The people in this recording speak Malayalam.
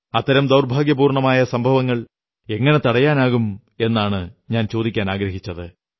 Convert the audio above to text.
അത്തരം ദൌർഭാഗ്യപൂർണ്ണമായ സംഭവങ്ങൾ എങ്ങനെ തടയാനാകും എന്നാണു ഞാൻ ചോദിക്കാനാഗ്രഹിച്ചത്